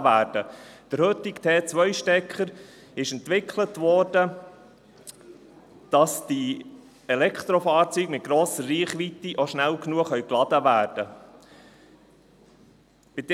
Der heutige Typ-2-Stecker wurde entwickelt, damit die Elektrofahrzeuge mit grosser Reichweite schnell genug geladen werden können.